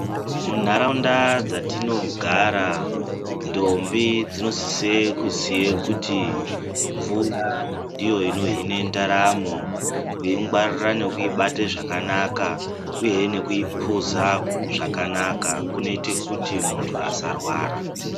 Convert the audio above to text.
Munharaunda dzatinogara ndombi dzinosise kuziye kuti mvura ndiyo inohine ndaramo kuingwarira nekuibate zvakanaka uyehe nekuipuza zvakanaka kunoite kuti muntu asarwara.